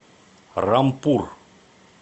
рампур